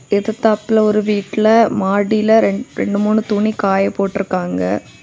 எதுதாபுள்ள ஒரு வீட்ல மாடில ரெண்டு மூணு துணி காய போட்டிருக்காங்க.